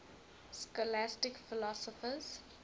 scholastic philosophers